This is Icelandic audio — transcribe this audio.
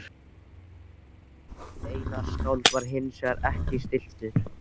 Einar skáld var hinsvegar ekki stilltur